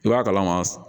I b'a kalama